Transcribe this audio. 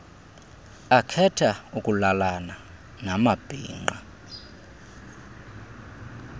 akhetha ukulalana namabhinqa